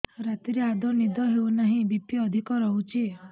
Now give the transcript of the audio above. ରାତିରେ ଆଦୌ ନିଦ ହେଉ ନାହିଁ ବି.ପି ଅଧିକ ରହୁଛି